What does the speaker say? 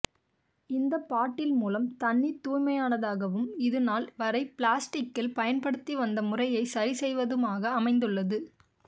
இந்த பாட்டில் மூலம் தண்ணீர் தூய்மையானதாகவும் இதுநாள் வரை பிளாஸ்டிக்கில் பயன்படுத்திவந்த முறையை சரி செய்வதுமாக அமைந்துள்ளது